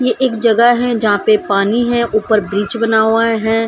ये एक जगह है जहा पे पानी हैं ऊपर ब्रिज बना हुआ है।